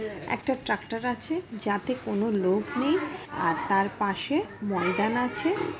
একটা ট্রাকটার আছে যাতে কোনো লোক নেই আর তার পাশে ময়দান আছে।